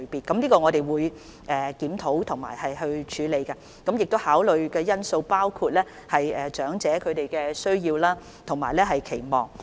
我們會就這方面進行檢討和處理，而考慮因素包括長者的需要和期望。